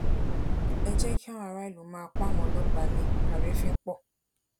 ẹ jẹ kí àwọn ará ìlú má pọn àwọn ọlọpàá lé àrífín pọ